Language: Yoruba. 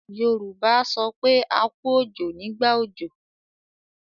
Yorùbá a sọ pé 'A kú òjò' nígbà òjò.